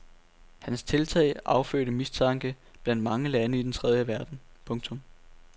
Hans tiltag affødte mistanke blandt mange lande i den tredje verden. punktum